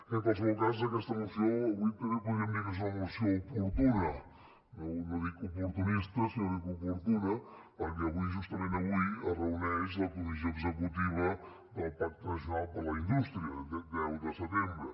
en qualsevol cas aquesta moció avui també podríem dir que és una moció oportuna no dic oportunista sinó que dic oportuna perquè avui justament avui es reuneix la comissió executiva del pacte nacional per a la indústria deu de setembre